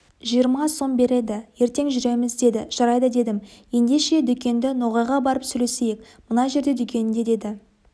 жиырма сом береді ертең жүреміз деді жарайды дедім ендеше дүкенші ноғайға барып сөйлесейік мына жерде дүкенінде деді